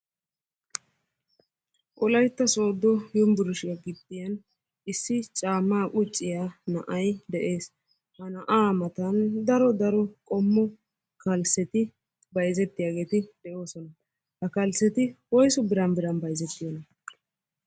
Wolaytta sodo yumburshiya gibbiyan issi caammaa qucciya na'ay de'ees. Ha na'aa matan daro daro qommo kalsseti bayizettiyageeti de'oosona. Kalsseti woysu biran biran bayizettiyonaa?